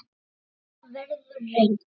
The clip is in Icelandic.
En það verður reynt